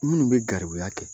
Minnu bɛ garibuya kɛ